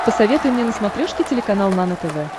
посоветуй мне на смотрешке телеканал нано тв